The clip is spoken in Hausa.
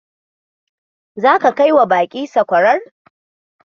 Zaka kai wa baƙin sakwarar?